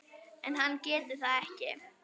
En hann getur það ekki.